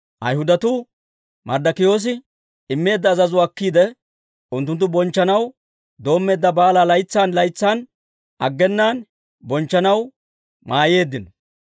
Ayhudatuu Marddokiyoosi immeedda azazuwaa akkiide, unttunttu bonchchanaw doommeedda baalaa laytsan laytsan aggenaan bonchchanaw mayyeeddino.